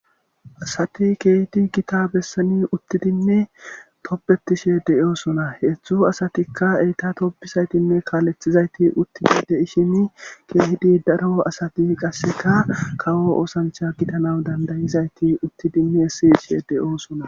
Asati keehti gita bessani uttidimme toppetishe deyoosona heetzdzu asatikka eyta toppisaytinne kaalethizayti uttidi de ishini keehidi daro asati qasseka kawo oosancha gitana dandayizayti utti dimme siishe deyoosona